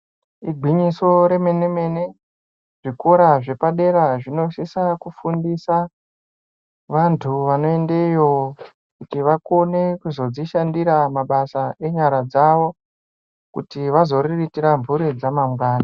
Igwinyiso remene-mene zvikora zvepadera zvinosisa kufundisa vantu vanoendeyo kuti vakone kuzodzishandira mabasa enyara dzavo kuti vazoriritira mhuri dzamangwani.